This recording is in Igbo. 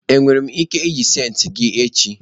enwere m ike iji senti gi echi?